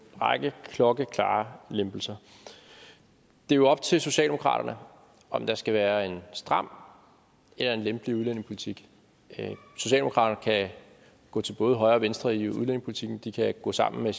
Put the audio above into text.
række klokkeklare lempelser det er jo op til socialdemokraterne om der skal være en stram eller en lempelig udlændingepolitik og socialdemokraterne kan gå til både højre og venstre i udlændingepolitikken de kan gå sammen med